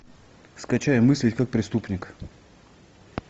скачай мыслить как преступник